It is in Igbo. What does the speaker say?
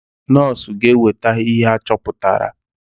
Nọs ga eweta ihe achọpụtara.